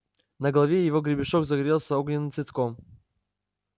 на голове его гребешок загорелся огненным цветком